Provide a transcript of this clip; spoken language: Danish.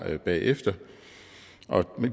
bagefter